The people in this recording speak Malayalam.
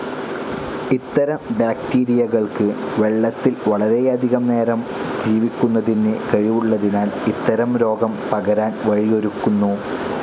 ഇത്തരം ബാക്ടീരിയകൾക്ക് വെളളത്തിൽ വളരെയധികം നേരം ജീവിക്കുന്നതിന് കഴിവുളളതിനാൽ ഇത്തരം രോഗം പകരാൻ വഴിയൊരുക്കുന്നു.